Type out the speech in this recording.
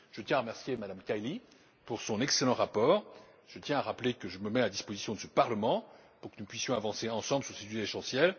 Je tiens à remercier Mme Kaili pour son excellent rapport et à rappeler que je suis à la disposition du Parlement pour que nous puissions avancer ensemble sur ce sujet essentiel.